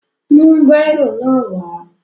Mú bírò náà wà á!